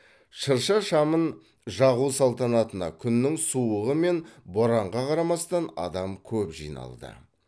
шырша шамын жағу салтанатына күннің суығы мен боранға қарамастан адам көп жиналды